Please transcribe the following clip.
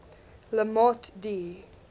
le morte d